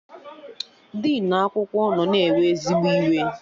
Dinu akwụkwọ nọ na-ewe ezigbo iwe